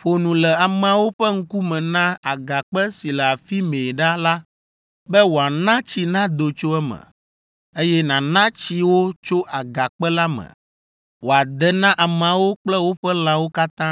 Ƒo nu le ameawo ƒe ŋkume na agakpe si le afi mɛ ɖa la be wòana tsi nado tso eme; eye nàna tsi wo tso agakpe la me wòade na ameawo kple woƒe lãwo katã.”